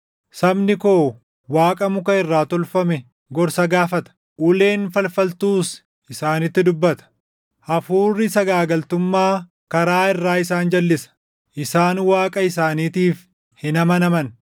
Sabni koo waaqa muka irraa tolfame gorsa gaafata; uleen falfaltuus isaanitti dubbata. Hafuurri sagaagaltummaa karaa irraa isaan jalʼisa; isaan Waaqa isaaniitiif hin amanaman.